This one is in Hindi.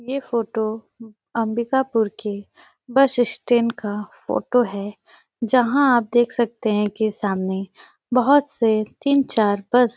ए फोटो अंबिकापुर की बस स्टेशन का है फोटो है जहाँं आप देख सकते है की सामने बहोत से तीन चार बस --